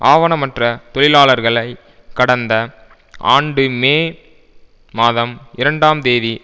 ஆவணமற்ற தொழிலாளர்களை கடந்த ஆண்டு மே மாதம் இரண்டாம் தேதி